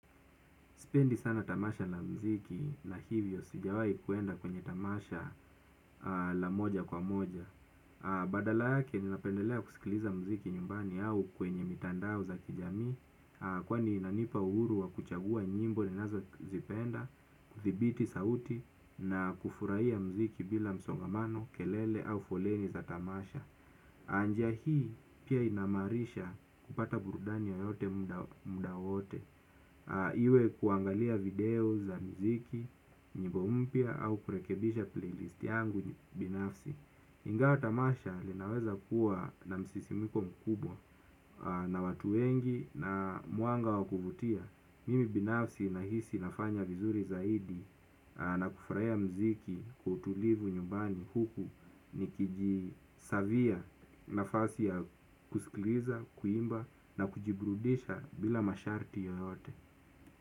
Sipendi sana tamasha na mziki na hivyo sijawahi kuenda kwenye tamasha la moja kwa moja. Badala yake ninapendelea kusikiliza muziki nyumbani au kwenye mitandao za kijamii. Kwani inanipa uhuru wa kuchagua nyimbo ninazozipenda, kudhibiti sauti na kufurahia muziki bila msongamano, kelele au foleni za tamasha. Njia hii pia inamarisha kupata burudani yoyote muda wote. Iwe kuangalia video za muziki, nyimbo mpya au kurekebisha playlist yangu binafsi ingawa tamasha linaweza kuwa na msisimko mkubwa na watu wengi na mwanga wa kuvutia. Mimi binafsi nahisi nafanya vizuri zaidi na kufurahia muziki kwa utulivu nyumbani huku nikijisavia nafasi ya kusikiliza, kuimba na kujiburudisha bila masharti yoyote.